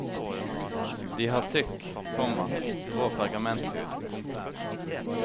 De har tykk, komma grå pergamenthud. punktum